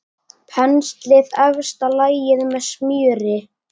Penslið efsta lagið með smjöri.